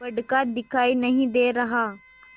बड़का दिखाई नहीं दे रहा